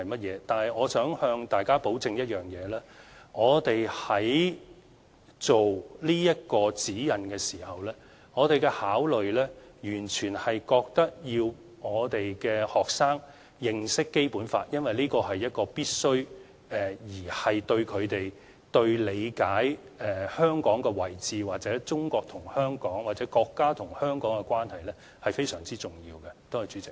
然而，我想向大家保證一點，當局在制訂此份《指引》的時候，我們的考慮完全是覺得學生要認識《基本法》，因為這是必須的，對他們理解香港的位置或中國與香港或國家與香港的關係，是非常重要的。